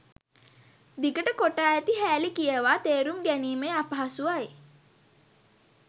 දිගට කොටා ඇති හෑලි කියවා තේරුම් ගැනීමේ අපහසුවයි